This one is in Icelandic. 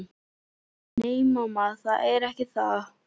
Nei, mamma, það er ekki það.